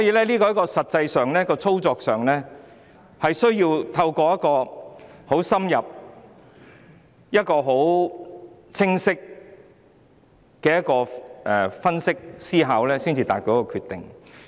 在實際操作上，我需要透過深入而清晰的思考分析，才能得出決定。